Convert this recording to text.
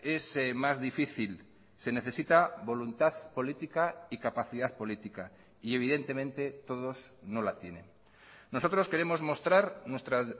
es más difícil se necesita voluntad política y capacidad política y evidentemente todos no la tienen nosotros queremos mostrar nuestra